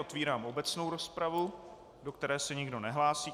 Otvírám obecnou rozpravu, do které se nikdo nehlásí.